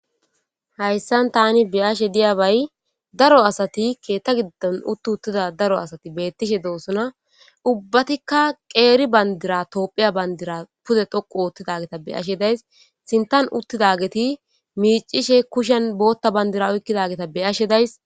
hayssan tani be7ashe diyabay daro asati keetta giddon utti uttida daro asati beettishe doosona ubbatikka qeeri bandira toophiya bandira pude dhoqu oottidageta be7ashe days sintan uttidageti miicishe kushen bootta bandira oykkidageta beyashe days